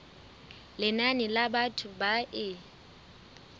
lenane la batho ba e